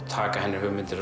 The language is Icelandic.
taka hennar hugmyndir